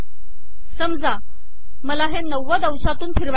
समजा मला हे 90 अंशातून फिरवायचे आहे